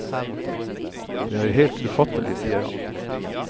Det er helt ufattelig, sier han.